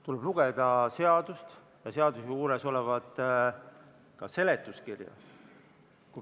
Tuleb lugeda seadust ja seaduse juures olevat seletuskirja.